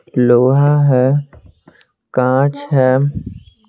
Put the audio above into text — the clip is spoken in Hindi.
लोहा है कांच है ।